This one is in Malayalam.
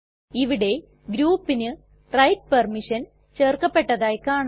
ഇവിടെ groupന് റൈറ്റ് പെർമിഷൻ ചേർക്കപ്പെട്ടതായി കാണാം